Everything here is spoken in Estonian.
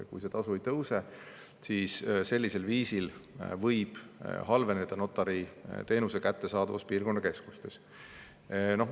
Kui see tasu ei tõuse, siis võib halveneda notariteenuste kättesaadavus piirkonnakeskustes.